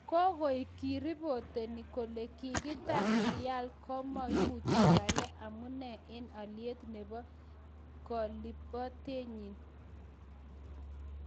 Kigoik kiripoteni kele kigiter Real komouchi Bale amune en alyeet nebo kaliptoenyin